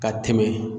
Ka tɛmɛ